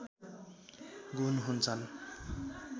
गुण हुन्छन्